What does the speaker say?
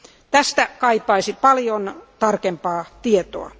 Tästä kaipaisin paljon tarkempaa tietoa.